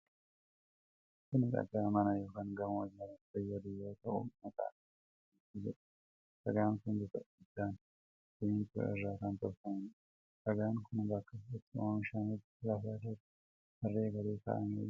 Kun dhagaa mana yookiin gamoo ijaaruuf fayyadhu yoo ta'u, maqaan isaa bilookeetii jedhama. Dhagaan kun bifa addaan simintoo irraa kan tolfamuudha. Dhagaan kun bakka itti oomishametti lafa irratti tarree galee kaa'amee jira.